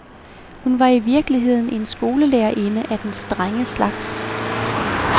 Hun var i virkeligheden en skolelærerinde af den strenge slags.